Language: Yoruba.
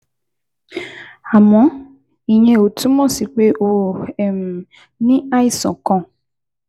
Àmọ́, ìyẹn ò túmọ̀ sí pé o um ní àìsàn kan